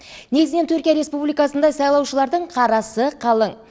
негізінен түркия республикасында сайлаушылардың қарасы қалың